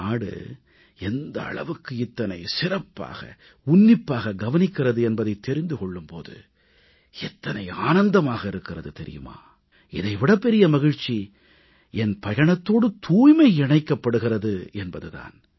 நாடு எந்த அளவுக்கு இத்தனை சிறப்பாக உன்னிப்பாக கவனிக்கிறது என்பதைத் தெரிந்து கொள்ளும் போது எத்தனை ஆனந்தமாக இருக்கிறது தெரியுமா இதை விடப் பெரிய மகிழ்ச்சி என் பயணத்தோடு தூய்மை இணைக்கப்படுகிறது என்பது தான்